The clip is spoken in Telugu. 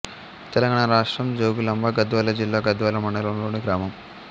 తెలంగాణ రాష్ట్రం జోగులాంబ గద్వాల జిల్లా గద్వాల మండలంలోని గ్రామం